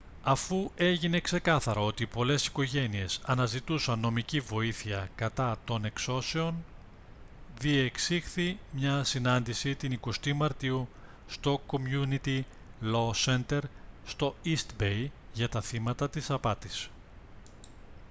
αφού έγινε ξεκάθαρο ότι πολλές οικογένειες αναζητούσαν νομική βοήθεια κατά των εξώσεων διεξήχθη μια συνάντηση την 20η μαρτίου στο community law center στο east bay για τα θύματα της απάτης